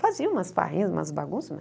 Fazia umas farrinhas, umas bagunças,